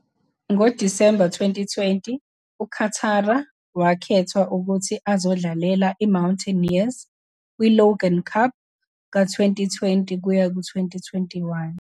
NgoDisemba 2020, uChatara wakhethwa ukuthi azodlalela iMountaineers kwi- Logan Cup ka-2020-21.